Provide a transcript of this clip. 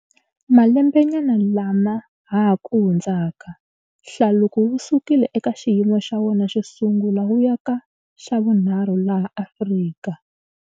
Malembenyana lama ha ku hundzaka, hlaluko wu sukile eka xiyimo xa wona xo sungula wu ya ka xa vunharhu laha Afrika.